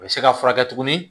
A bɛ se ka furakɛ tuguni